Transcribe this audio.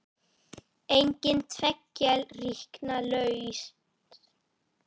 Engin tveggja ríkja lausn?